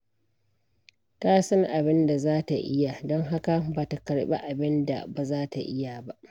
Ta san abin da za ta iya, don haka ba ta karɓi abin da ba za ta iya ba.